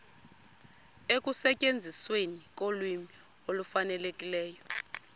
ekusetyenzisweni kolwimi olufanelekileyo